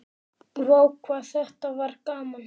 Vá hvað þetta var gaman!!